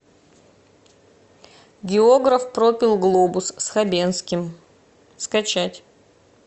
географ пропил глобус с хабенским скачать